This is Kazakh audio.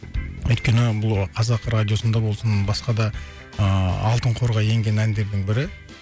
өйткені бұл қазақ радиосында болсын басқа да ыыы алтын қорға енген әндердің бірі